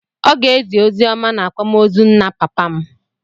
Ọ ga-ezi oziọma n'akwamozu nna papa m.